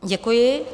Děkuji.